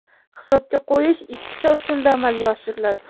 Hisobga qo‘yish ikkita usulda amalga oshiriladi.